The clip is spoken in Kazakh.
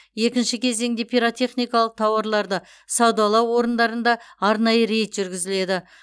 екінші кезеңінде пиротехникалық тауарларды саудалау орындарында арнайы рейд жүргізіледі